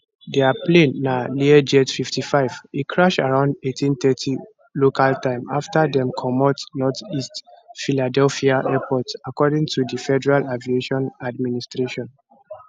di plane na learjet 55 e crash around 1830 local time afta dem comot northeast philadelphia airport according to di federal aviation administration